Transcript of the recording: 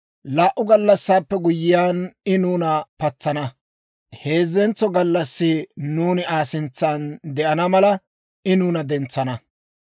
Laa"u gallassaappe guyyiyaan, I nuuna patsana; heezzentso gallassi nuuni Aa sintsan de'ana mala, I nuuna dentsana.